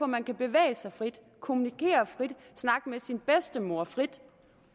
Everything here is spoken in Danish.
man kan bevæge sig frit kommunikere frit snakke med sin bedstemor frit